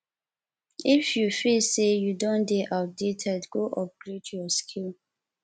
if you feel say you don de dey outdated go upgrade your skill